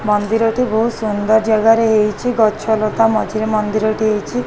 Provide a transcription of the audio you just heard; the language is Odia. ମନ୍ଦିରଟି ବୋହୁତ୍ ସୁନ୍ଦର ଜାଗାରେ ହେଇଚି। ଗଛ ଲତା ମଝିରେ ମନ୍ଦିରଟି ହେଇଚି।